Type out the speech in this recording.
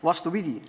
Vastupidi.